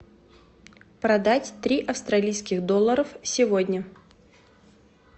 продать три австралийских долларов сегодня